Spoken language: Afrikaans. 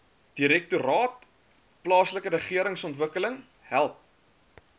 direktoraat plaaslikeregeringsontwikkeling help